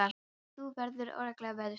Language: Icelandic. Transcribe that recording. Þannig að þú verður örugglega veðurtepptur?